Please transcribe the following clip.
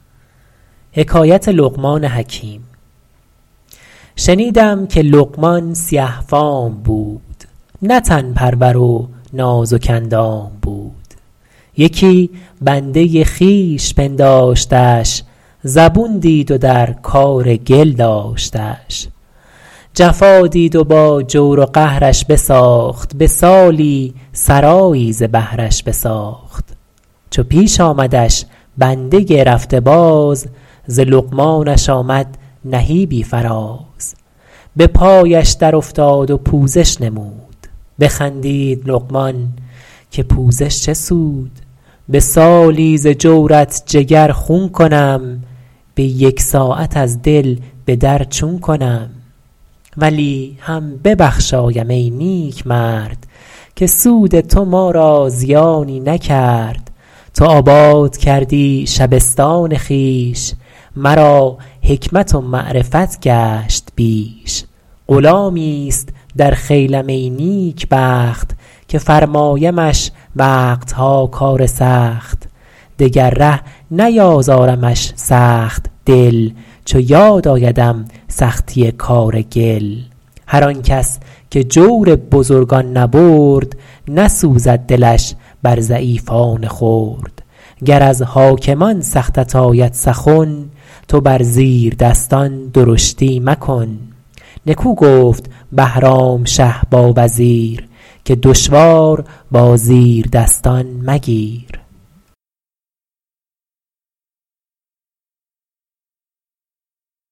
شنیدم که لقمان سیه فام بود نه تن پرور و نازک اندام بود یکی بنده خویش پنداشتش زبون دید و در کار گل داشتش جفا دید و با جور و قهرش بساخت به سالی سرایی ز بهرش بساخت چو پیش آمدش بنده رفته باز ز لقمانش آمد نهیبی فراز به پایش در افتاد و پوزش نمود بخندید لقمان که پوزش چه سود به سالی ز جورت جگر خون کنم به یک ساعت از دل به در چون کنم ولی هم ببخشایم ای نیک مرد که سود تو ما را زیانی نکرد تو آباد کردی شبستان خویش مرا حکمت و معرفت گشت بیش غلامی است در خیلم ای نیک بخت که فرمایمش وقت ها کار سخت دگر ره نیازارمش سخت دل چو یاد آیدم سختی کار گل هر آن کس که جور بزرگان نبرد نسوزد دلش بر ضعیفان خرد گر از حاکمان سختت آید سخن تو بر زیردستان درشتی مکن نکو گفت بهرام شه با وزیر که دشوار با زیردستان مگیر